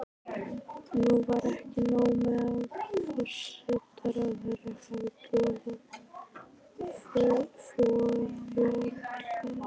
Nú var ekki nóg með að forsætisráðherra hafði boðað forföll.